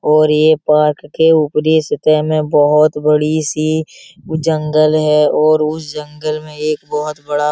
और ये पार्क के ऊपरी सतह में बहुत बड़ी सी जंगल है और उस जंगल में एक बहुत बड़ा --